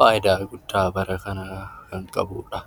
faayidaa guddaa bara kana kan qabudha.